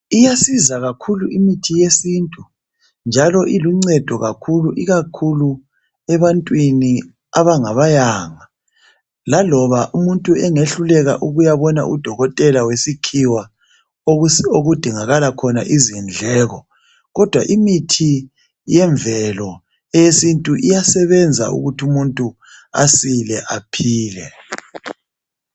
Iyasiza kakhulu imithi yesiNtu njalo iluncedo kakhulu ikakhulu ebantwini abangabayanga. Laloba umuntu engehluleka ukuyabona uDokotela wesikhiwa okudingakala khona izindleko kodwa imithi yemvelo eyesiNtu iyasebenza ukuthi umuntu asile aphile.